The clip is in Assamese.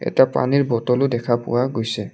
এটা পানীৰ বটল ও দেখা পোৱা গৈছে।